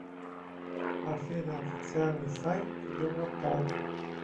афина официальный сайт европол